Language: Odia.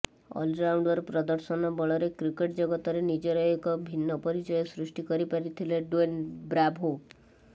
ଅଲରାଉଣ୍ଡର ପ୍ରଦର୍ଶନ ବଳରେ କ୍ରିକେଟ ଜଗତରେ ନିଜର ଏକ ଭିନ୍ନ ପରିଚୟ ସୃଷ୍ଟି କରିପାରିଥିଲେ ଡ୍ୱେନ ବ୍ରାଭୋ